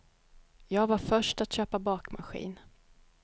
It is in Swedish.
Jag var först att köpa bakmaskin.